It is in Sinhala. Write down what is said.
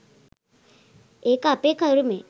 ඒක අපේ කරුමෙ